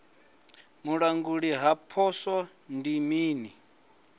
vhulanguli ha poswo ndi mini